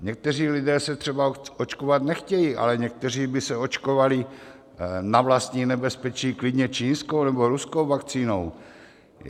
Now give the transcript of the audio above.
Někteří lidé se třeba očkovat nechtějí, ale někteří by se očkovali na vlastní nebezpečí klidně čínskou nebo ruskou vakcínou.